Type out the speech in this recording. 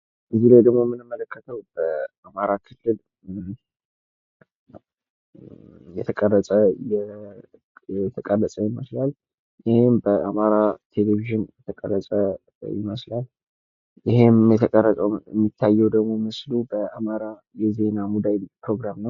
ከዚህ ላይ ደግሞ የምንመለከተው አማራ ክልል የተቀረጸ የተቀረጸ ይመስላል። ይህም በአማራ ቴሌቪዥን የተቀረጸ ይመስላል። ይህም የተቀረጸው የሚታየው ምስሉ በአማራ የዜና ሙዳይ ፕሮግራም ነው።